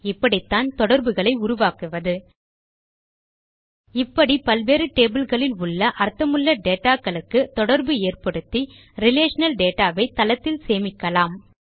இப்படித்தான் தொடர்புகளை உருவாக்குவது இப்படி பல்வேறு டேபிள் களில் உள்ள அர்த்தமுள்ள dataகளுக்குத் தொடர்பு ஏற்படுத்தி ரிலேஷனல் டேட்டா வை தளத்தில் சேமிக்கலாம்